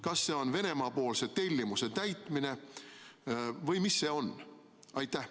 Kas see on Venemaa tellimuse täitmine või mis see on?